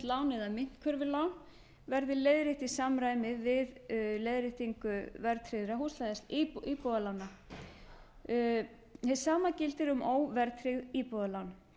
lán eða myntkörfulán verði leiðrétt í samræmi við leiðréttingu verðtryggðra íbúðalána hið sama gildi um óverðtryggð íbúðalán